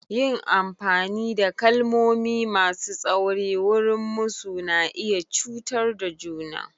Yin amfani da kalmomi masu tsauri wurin musu na iya cutar da juna.